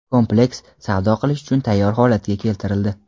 kompleks savdo qilish uchun tayyor holatga keltirildi.